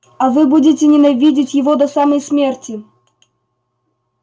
а вы будете ненавидеть его до самой смерти